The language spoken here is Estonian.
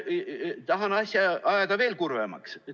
Tahan asja ajada veel kurvemaks.